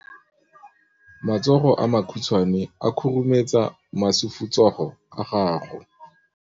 Matsogo a makhutshwane a khurumetsa masufutsogo a gago.